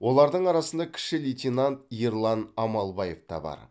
олардың арасында кіші лейтенант ерлан амалбаев та бар